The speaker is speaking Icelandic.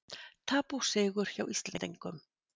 Tap og sigur hjá Íslendingum